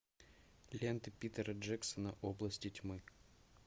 лента питера джексона области тьмы